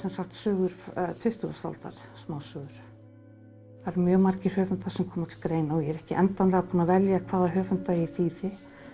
sögur tuttugustu aldar smásögur það eru mjög margir höfundar sem koma til greina og ég er ekki endanlega búin að velja hvaða höfunda ég þýði